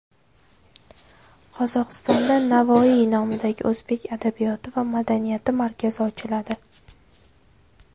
Qozog‘istonda Navoiy nomidagi o‘zbek adabiyoti va madaniyati markazi ochiladi.